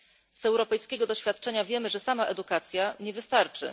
Z europejskiego doświadczenia wiemy, że sama edukacja nie wystarczy.